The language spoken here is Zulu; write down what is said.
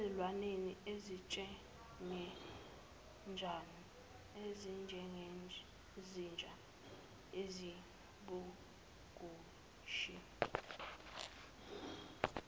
ezilwaneni ezinjengezinja izimpungushe